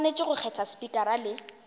swanetše go kgetha spikara le